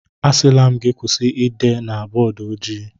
Asịla m gị kwụsị ide na bọọdụ ojii!